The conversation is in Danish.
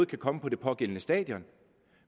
kan komme på det pågældende stadion